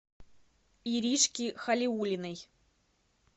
иришки халиуллиной